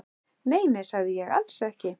Nei, nei, sagði ég, alls ekki.